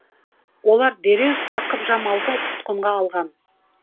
олар дереу сақып жамалды тұтқынға алған